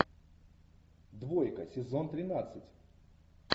двойка сезон тринадцать